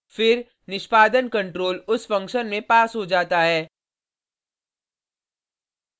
फिर निष्पादन कंट्रोल उस फंक्शन में पास हो जाता है